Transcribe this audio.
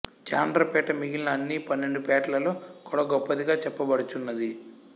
జాండ్రపేట మిగిలిన అన్ని పన్నెండు పేటలలో కుడా గొప్పదిగా చెప్పబడుచున్నది